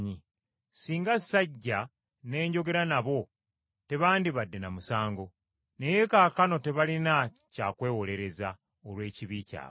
Singa sajja ne njogera nabo tebandibadde na musango. Naye kaakano tebalina kya kwewolereza olw’ekibi kyabwe.